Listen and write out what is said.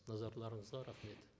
назарларыңызға рахмет